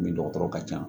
Min dɔgɔtɔrɔ ka ca